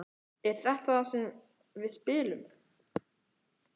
Er þetta þar sem við spilum?